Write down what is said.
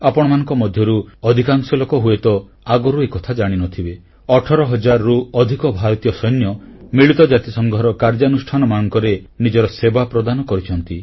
ଆପଣମାନଙ୍କ ମଧ୍ୟରୁ ଅଧିକାଂଶ ଲୋକ ହୁଏତ ଆଗରୁ ଏକଥା ଜାଣିନଥିବେ 18 ହଜାରରୁ ଅଧିକ ଭାରତୀୟ ସୈନ୍ୟ ମିଳିତ ଜାତିସଂଘର କାର୍ଯ୍ୟାନୁଷ୍ଠାନମାନଙ୍କରେ ନିଜର ସେବା ପ୍ରଦାନ କରିଛନ୍ତି